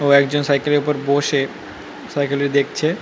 কেও একজন সাইকেল -এর উপর বসে সাইকেল -এ দেখছে ।